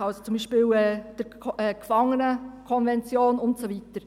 also beispielsweise der Gefangenenkonvention und so weiter.